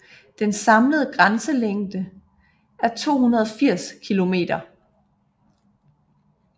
Den samlede grænselængde er 280 kilometer